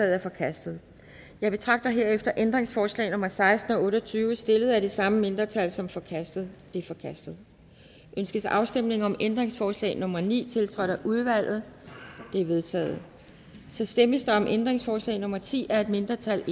er forkastet jeg betragter herefter ændringsforslag nummer seksten og otte og tyve stillet af det samme mindretal som forkastet de er forkastet ønskes afstemning om ændringsforslag nummer ni tiltrådt af udvalget det er vedtaget der stemmes om ændringsforslag nummer ti af et mindretal